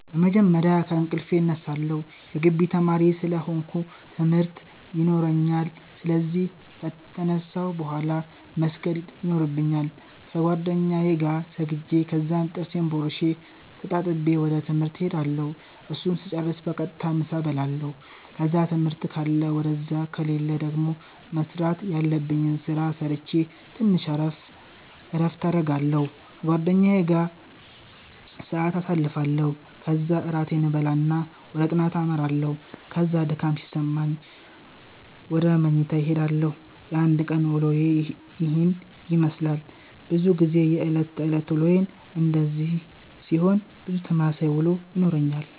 በመጀመርያ ከእንቅልፌ እነሳለሁ የጊቢ ተማሪ ስለ ሆነኩ ትምርት የኖራኛል ስለዚህ ከተነሳሁ ቡሃላ መስገድ የኖርብኛል ከጌደኛዬ ጋር ሰግጄ ከዛም ጥርሴን ቦርሼ ተጣጥቤ ወደ ትምህርት እሄዳለሁ እሱን ስጨርስ በቀጥታ ምሳ እበላለሁ ከዛ ትምህርት ካለ ውደዛ ከሌለ ደገሞ መስራተ ያለብኝን ስራ ሰረቼ ተንሽ እረፍት አረጋለሁ ከጓደኛዬ ጋር ሰአት ኣሳልፋለሁ ከዛ እራቴን እበላና ወደ ጥናተ አመራለሁ ከዛ ድካም ሲሰማኝ ውደ መኝታዬ እሄዳለሁ። የአንድ ቀን ዉሎዬ የሄን የመስላል። በዙ ጊዜ የእለት ተእለት ዉሎዬ እንደዚህ ሲሆን ብዙ ተመሳሳይ ዉሎ ይኖረኛል።